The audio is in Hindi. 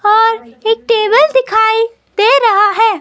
और एक टेबल दिखाई दे रहा है।